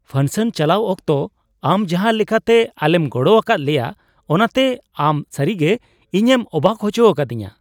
ᱯᱷᱟᱝᱥᱚᱱ ᱪᱟᱞᱟᱣ ᱚᱠᱛᱚ ᱟᱢ ᱡᱟᱦᱟᱸ ᱞᱮᱠᱟᱛᱮ ᱟᱞᱮᱢ ᱜᱚᱲᱚ ᱟᱠᱟᱫ ᱞᱮᱭᱟ ᱚᱱᱟᱛᱮ ᱟᱢ ᱥᱟᱹᱨᱤᱜᱮ ᱤᱧᱮᱢ ᱚᱵᱟᱠ ᱦᱚᱪᱚ ᱟᱠᱟᱫᱤᱧᱟᱹ ᱾